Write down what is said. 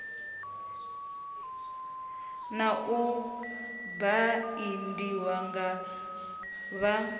na u baindiwa nga vha